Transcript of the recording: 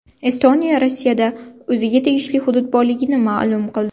Estoniya Rossiyada o‘ziga tegishli hudud borligini ma’lum qildi.